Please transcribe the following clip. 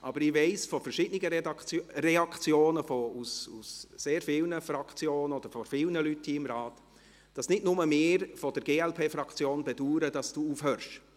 Aber ich weiss von verschiedenen Reaktionen aus sehr vielen Fraktionen oder von Leuten hier im Rat, dass nicht nur wir von der Glp-Fraktion bedauern, dass Sie aufhören.